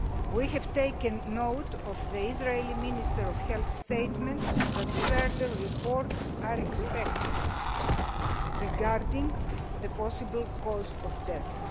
We have taken note of the Israeli Minister of Health's statement that further reports are expected regarding the possible cause of death.